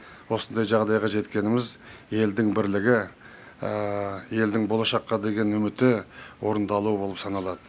осындай жағдайға жеткеніміз елдің бірлігі елдің болашаққа деген үміті орындалуы болып саналады